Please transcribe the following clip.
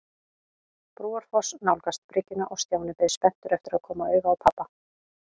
Brúarfoss nálgast bryggjuna og Stjáni beið spenntur eftir að koma auga á pabba.